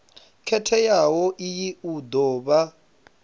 khethekanyo iyi u do vha